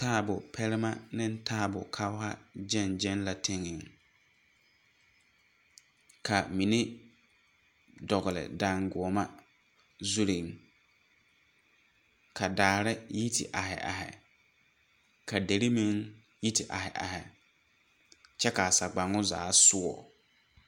Taabo pɛnnema ne taabo kɔgha gyɛŋgyɛŋ la tenŋɛeŋ ka mine dɔgle dangoɔma zurre ka daare yi te aihi aihi ka derre meŋ yi te aihi aihi kyɛ kaa sagbaŋo zaa soɔ